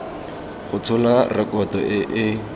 go tshola rekoto e e